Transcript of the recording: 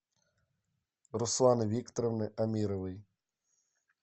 русланы викторовны амировой